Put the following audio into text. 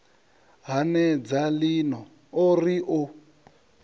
hanedza lini o ri o